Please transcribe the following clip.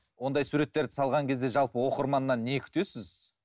ондай суреттерді салған кезде жалпы оқырманнан не күтесіз